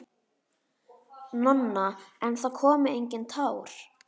Nonna, en það komu engin tár.